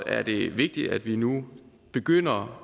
er det vigtigt at vi nu begynder